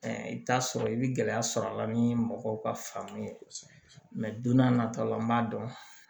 I bɛ t'a sɔrɔ i bɛ gɛlɛya sɔrɔ a la ni mɔgɔw ka faamu ye mɛ don n'a nata la n b'a dɔn